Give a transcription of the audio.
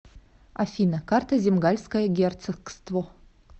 афина карта земгальское герцогство